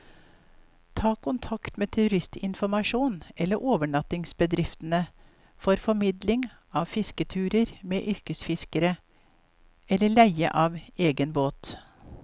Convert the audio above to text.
Ta kontakt med turistinformasjonen eller overnattingsbedriftene for formidling av fisketurer med yrkesfiskere, eller leie av egen båt.